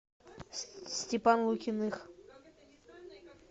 степан лукиных